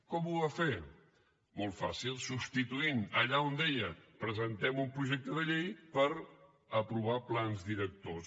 com ho va fer molt fàcil substituint allà on dia presentem un projecte de llei per aprovar plans directors